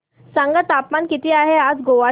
सांगा तापमान किती आहे आज गोवा चे